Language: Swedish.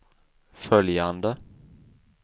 följande